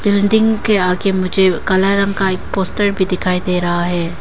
Building के आगे मुझे काला रंग का एक पोस्टर भी दिखाई दे रहा है।